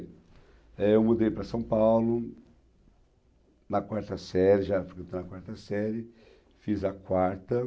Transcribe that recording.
Eh eu mudei para São Paulo na quarta série, já fui na quarta série, fiz a quarta.